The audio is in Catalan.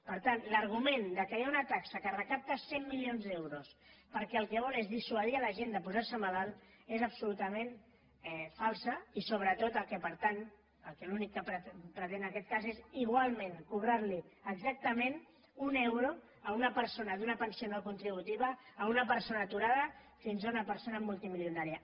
per tant l’argument que hi ha una taxa que recapta cent milions d’euros perquè el que vol és dissuadir la gent de posar se malalta és absolutament falsa i sobretot l’únic que pretén és igualment cobrar li exactament un euro a una persona d’una pensió no contributiva a una persona aturada fins a una persona multimilionària